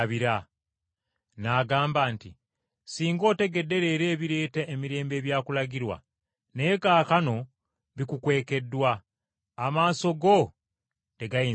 N’agamba nti, “Singa otegedde leero ebireeta emirembe ebyakulagirwa! Naye kaakano bikukwekeddwa, amaaso go tegayinza kubiraba.